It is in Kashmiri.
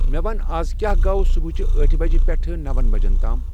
مےٚ وَن اَز کیٛاہ گوٚو صبحٕچہِ آٹھِ بجہِ پٮ۪ٹھٕ نَوَن بجَن تام